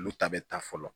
Olu ta bɛ ta fɔlɔ